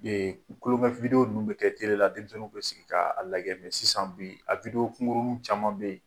kulonkɛ minnu bɛ kɛ la denmisɛnninw bɛ sigi k'a a lagɛ sisan bi, a kunrunnu caman bɛ yen